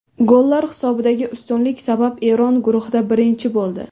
Gollar hisobidagi ustunlik sabab Eron guruhda birinchi bo‘ldi.